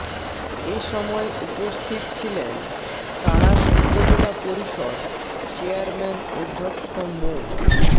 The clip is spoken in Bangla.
এ সময় উপস্থিত ছিলেন তাড়াশ উপজেলা পরিষদ চেয়ারম্যান অধ্যক্ষ মো